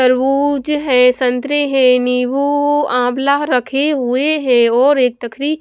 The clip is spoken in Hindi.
तरबूज है संतरे है नींबू आंवला रखे हुए हैं और एक तखरी--